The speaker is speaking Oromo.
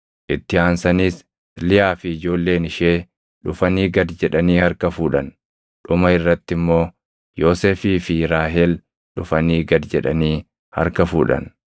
Itti aansaniis Liyaa fi ijoolleen ishee dhufanii gad jedhanii harka fuudhan. Dhuma irratti immoo Yoosefii fi Raahel dhufanii gad jedhani harka fuudhan.